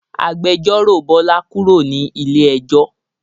Agbẹjọ́ró Bọlá kúrò ní ilé ẹjọ́